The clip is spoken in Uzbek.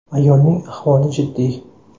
Ayolning ahvoli jiddiy.